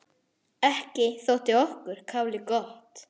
Ekki þótti okkur kálið gott.